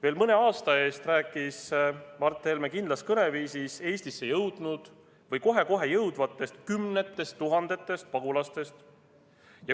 Veel mõne aasta eest rääkis Mart Helme kindlas kõneviisis Eestisse jõudnud või kohe-kohe jõudvatest kümnetest tuhandetest pagulastest.